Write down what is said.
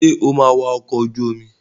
Sọ máa wa ọkọ̀ ojú omi?